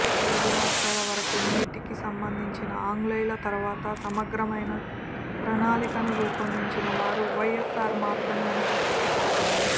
తెలుగు రాష్ట్రాల వరకు నీటికి సంబంధించి ఆంగ్లేయుల తర్వాత సమగ్రమైన ప్రణాళికను రూపొందించినవారు వైఎస్సార్ మాత్రమే అని చెప్పక తప్పదు